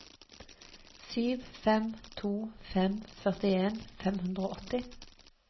sju fem to fem førtien fem hundre og åtti